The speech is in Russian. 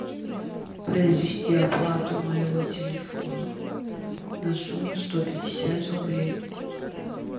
произвести оплату моего телефона на сумму сто пятьдесят рублей